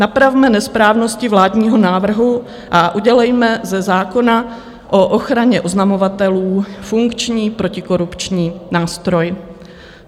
Napravme nesprávnosti vládního návrhu a udělejme ze zákona o ochraně oznamovatelů funkční protikorupční nástroj.